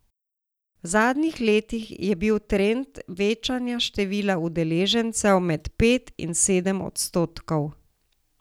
V zadnjih letih je bil trend večanja števila udeležencev med pet in sedem odstotkov.